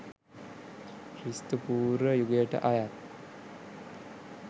ක්‍රිස්තු පූර්ව යුගයට අයත්